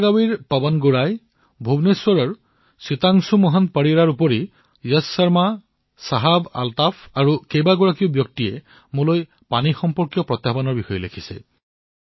বেলাগাৱীৰ পৱন গোঁহাই ভুৱনেশ্বৰৰ সীতাংশু মোহন পৰিদা তাৰোপৰি যশ শৰ্মা শাহাব আলটাফ আৰু বহু লোকে মোক পানীৰ সৈতে জড়িত প্ৰত্যাহ্বানসমূহৰ বিষয়ে লিখিছে